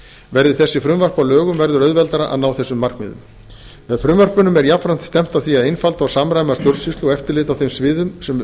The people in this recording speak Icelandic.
verði frumvörp þessi að lögum verður auðveldara að ná þessum markmiðum með frumvörpunum er jafnframt stefnt að því að einfalda og samræma stjórnsýslu og eftirlit á þeim sviðum sem